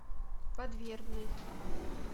подвербный